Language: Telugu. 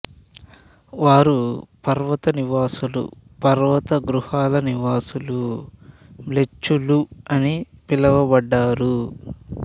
వారు పర్వత నివాసులు పర్వతగుహల నివాసులు మ్లేచ్చులు అని పులువబడ్డారు